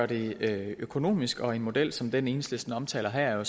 det økonomisk og en model som den enhedslisten omtaler her er